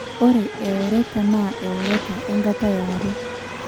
Ore eoreta naa eoreta enkata yare.